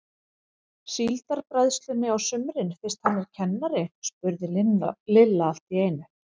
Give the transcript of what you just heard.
Síldarbræðslunni á sumrin fyrst hann er kennari? spurði Lilla allt í einu.